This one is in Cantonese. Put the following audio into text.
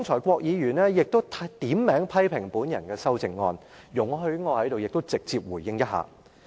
郭議員剛才點名批評我的修正案。請容許我現在直接回應。